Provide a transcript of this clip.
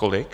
kolik?